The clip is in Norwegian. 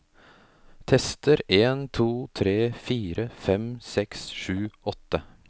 Tester en to tre fire fem seks sju åtte